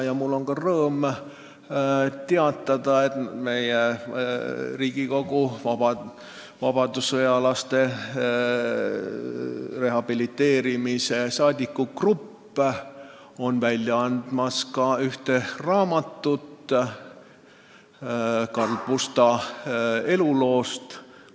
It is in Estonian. Ja mul on rõõm teatada, et Riigikogus asutatud vabadussõjalaste rehabiliteerimise toetusgrupp annab välja raamatu Karl Pusta eluloost.